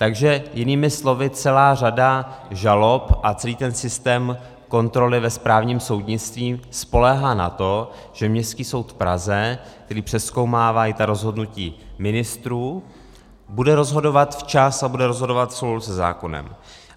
Takže jinými slovy, celá řada žalob a celý ten systém kontroly ve správním soudnictví spoléhá na to, že Městský soud v Praze, který přezkoumává i ta rozhodnutí ministrů, bude rozhodovat včas a bude rozhodovat v souladu se zákonem.